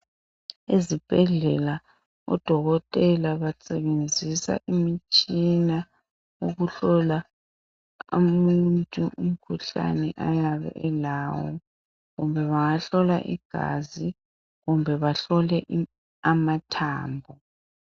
Ezibhedlela odokotela basebenzisa imitshina ukuhlola umuntu imikhuhlane engabe elawo .Bengahlola igazi kumbe bahlole amathambo.